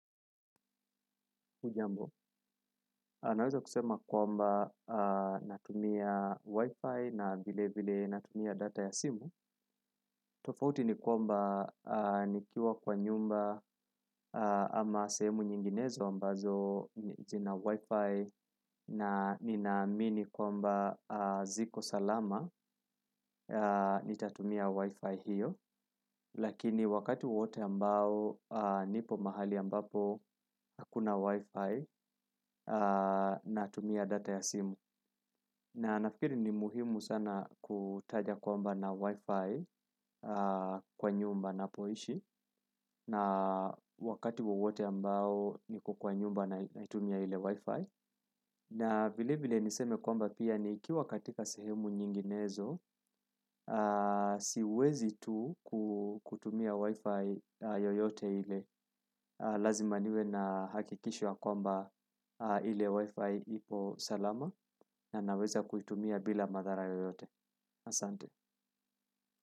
Hujambo, naweza kusema kwamba natumia wifi na vilevile natumia data ya simu tofauti ni kwamba nikiwa kwa nyumba ama sehemu nyinginezo ambazo zina wifi na ninaamini kwamba ziko salama nitatumia wifi hiyo. Lakini wakati wowote ambao nipo mahali ambapo hakuna wifi na tumia data ya simu na nafikiri ni muhimu sana kutaja kwamba nina wifi kwa nyumba ninapoishi na wakati wowote ambao niko kwa nyumba naitumia ile wifi na vile vile niseme kwamba pia nikiwa katika sehemu nyinginezo siwezi tu kutumia wifi yoyote ile lazima niwe na hakikisho ya kwamba ile wifi iko salama na naweza kutumia bila madhara yoyote asante.